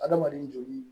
Adamaden joli